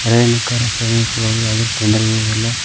ಪ್ರಯಾಣಿಕರು ಪ್ರಯಾಣಿಸುವಾಗ ಯಾವ್ದೆ ತೊಂದರೆ ಇರುದಿಲ್ಲ.